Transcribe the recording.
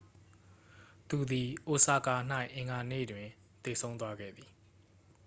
သူသည် အိုဆာကာ၌ အင်္ဂါနေ့တွင် သေဆုံးသွားခဲ့သည်